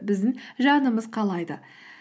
біздің жанымыз қалайды